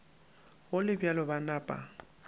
go le bjalo ba napa